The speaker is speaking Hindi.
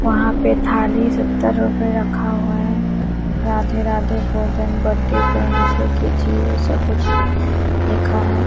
वहां पे थाली सत्तर रुपए रखा हुआ है राधे राधे भोजन बड्ढे कीजिए ऐसा कुछ लिखा है।